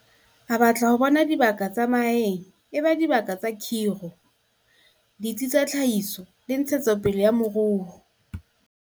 A batla ho bona dibaka tsa mahaeng e ba dibaka tsa kgiro, ditsi tsa tlhahiso le ntshetso pele ya moruo.